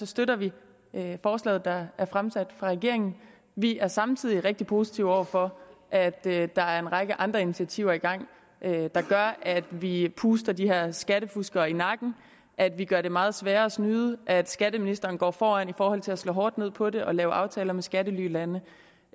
støtter vi forslaget der er fremsat af regeringen vi er samtidig rigtig positive over for at der der er en række andre initiativer i gang der gør at vi puster de her skattefuskere i nakken at vi gør det meget sværere at snyde at skatteministeren går foran i forhold til at slå hårdt ned på det og lave aftaler med skattelylande